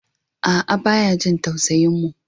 A'a baya jin tausayin mu.